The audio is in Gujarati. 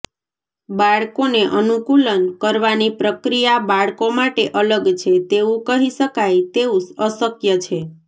બાળકોને અનુકૂલન કરવાની પ્રક્રિયા બાળકો માટે અલગ છે તેવું કહી શકાય તેવું અશક્ય છે